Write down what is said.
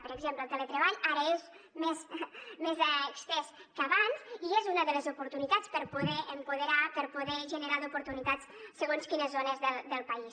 per exemple el teletreball ara és més estès que abans i és una de les oportunitats per poder empoderar per poder generar oportunitats en segons quines zones del país